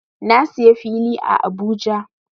Na siya fili a Abuja.